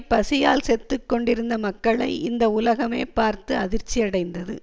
பசியால் செத்துக் கொண்டிருந்த மக்களை இந்த உலகமே பார்த்து அதிர்ச்சியடைந்தது